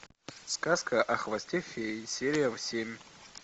сказка о хвосте феи серия семь